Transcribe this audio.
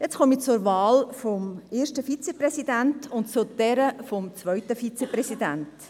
Jetzt komme ich zur Wahl des ersten Vizepräsidenten und zu jener des zweiten Vizepräsidenten.